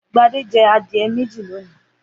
Gbadé jẹ adìẹ méjì lónìí.